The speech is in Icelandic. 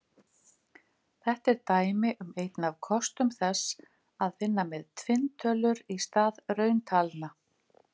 Þetta er dæmi um einn af kostum þess að vinna með tvinntölur í stað rauntalna.